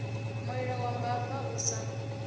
mulilo wa mbava u sa